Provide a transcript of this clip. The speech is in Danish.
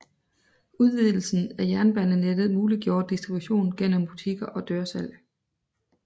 Udvidelsen af jernbanenettet muliggjorde distribution gennem butikker og dørsalg